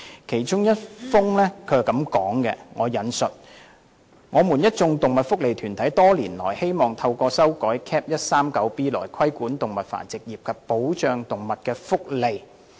其中一封信提到，"我們一眾動物福利團體多年來希望透過修改 Cap. 139B 來規管動物繁殖業及保障動物福利。